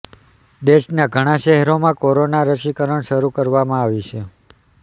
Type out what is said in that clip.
દેશના ઘણાં શહેરોમાં કોરોના રસીકરણ શરૂ કરવામાં આવી છે